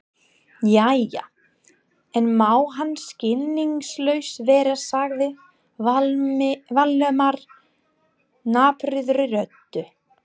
Jæja, ekki má hann skilningslaus vera sagði Valdimar napurri röddu.